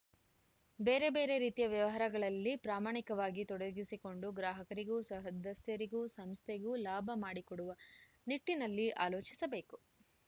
ಬೇರೆ ಬೇರೆ ರೀತಿಯ ವ್ಯವಹಾರಗಳಲ್ಲಿ ಪ್ರಾಮಾಣಿಕವಾಗಿ ತೊಡಗಿಸಿಕೊಂಡು ಗ್ರಾಹಕರಿಗೂ ಸಹದಸ್ಯರಿಗೂ ಸಂಸ್ಥೆಗೂ ಲಾಭ ಮಾಡಿಕೊಡುವ ನಿಟ್ಟಿನಲ್ಲಿ ಆಲೋಚಿಸಬೇಕು